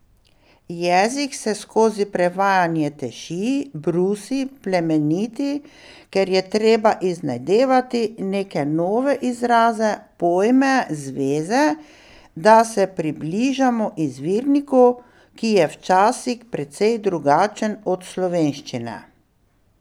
Jezik se skozi prevajanje teši, brusi, plemeniti, ker je treba iznajdevati neke nove izraze, pojme, zveze, da se približamo izvirniku, ki je včasih precej drugačen od slovenščine.